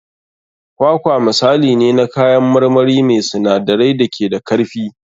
Kwakwa misali ne na kayan marmari mai sinadarai da ke da karfi.